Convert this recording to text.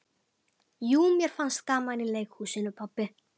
Jú mér fannst gaman í leikhúsinu pabbi.